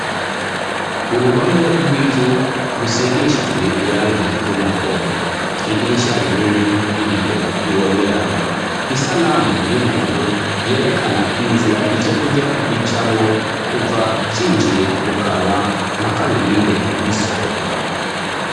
Uruhome rw'inzu rusigishijwe irangi ry'umuhondo, idirisha rinini y'ibiyo bibonerana, isanamu y'umuntu yerekana inzira ivyo kurya bicamwo kuva vyinjiye mukanwa mpaka birinde bisohoka.